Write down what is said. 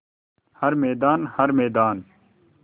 हर मैदान हर मैदान